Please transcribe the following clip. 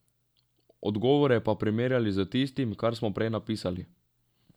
Odgovore pa primerjali z tistim, kar smo prej napisali.